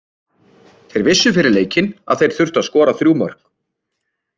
Þeir vissu fyrir leikinn að þeir þyrftu að skora þrjú mörk.